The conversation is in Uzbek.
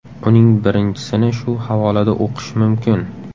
Uning birinchisini shu havolada o‘qish mumkin.